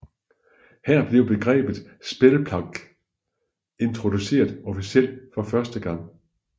Her blev begrebet Spellplague introduceret officielt for første gang